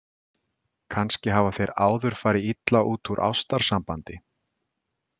Kannski hafa þeir áður farið illa út úr ástarsambandi.